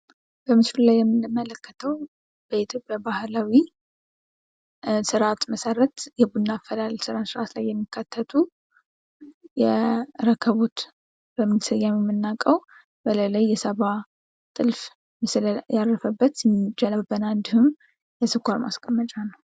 በምስሉ ላይ የምንመለከተው በኢትዮጵያ ባህላዊ ስርዓት መሰረት የቡና አፈላል ስርዓት ላይ የሚካተቱ የረከቦት ፣ የሰባ ጥልፍ ምስል ያረፈበት ጀበና እንዲሁም የስኳር ምስል ነው።